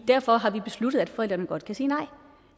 derfor har vi besluttet at forældrene godt kan sige nej